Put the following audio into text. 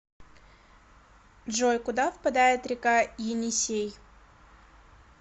джой куда впадает река енисей